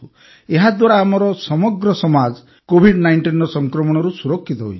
ଏହାଦ୍ୱାରା ଆମର ସମଗ୍ର ସମାଜ କୋଭିଡ୧୯ର ସଂକ୍ରମଣରୁ ସୁରକ୍ଷିତ ହୋଇଯିବ